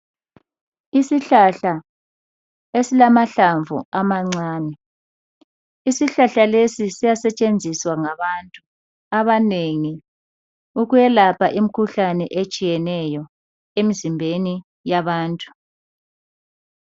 Isihlahla esilamahlamvu amancane, isihlahla lesi siyasetshenziswa ngabantu abanengi ukwelapha imkhuhlane etshiyeneyo emzimbeni yabantu.